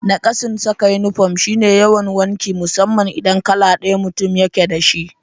Naƙasun saka inifom shi ne yawan wanki musamman idan kala ɗaya mutum yake da shi